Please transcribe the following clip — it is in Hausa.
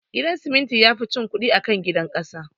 Gidan siminti yafi cin kudi akan gidan kasa